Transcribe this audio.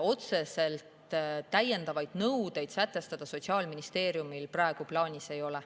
Otseselt täiendavaid nõudeid sätestada Sotsiaalministeeriumil praegu plaanis ei ole.